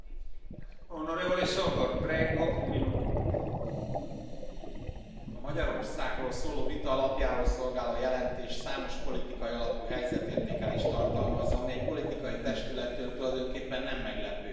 Tisztelt Elnök úr! A Magyarországról szóló vita alapjául szolgáló jelentés számos politikai alapú helyzetértékelést tartalmaz, amely egy politikai testülettől tulajdonképpen nem meglepő.